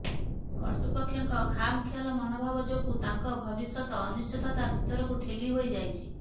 କର୍ତ୍ତୃପକ୍ଷଙ୍କ ଖାମ ଖିଆଲ ମନୋଭାବ ଯୋଗୁ ତାଙ୍କ ଭବିଷ୍ୟତ ଅନିଶ୍ଚିତତା ଭିତରକୁ ଠେଲି ହୋଇ ଯାଇଛି